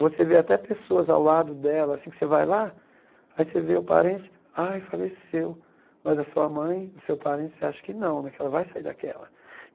Você vê até pessoas ao lado dela, assim que você vai lá, aí você vê o parente, ai faleceu, mas a sua mãe, o seu parente, você acha que não né, que ela vai sair daquela.